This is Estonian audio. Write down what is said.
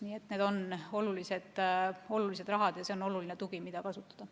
Nii et need on olulised rahad ja see on oluline tugi, mida kasutada.